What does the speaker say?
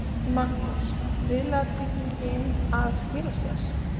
Magnús: Viðlagatryggingin að skila sér?